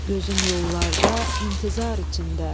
Gözüm yollarda intizar içində.